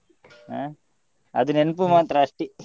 ಹ ಅದು ನೆನ್ಪು ಮಾತ್ರ ಅಷ್ಟೇ.